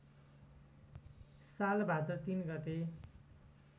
साल भाद्र ३ गते